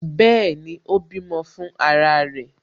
Bẹẹni, ó bímọ fún ara rẹ̀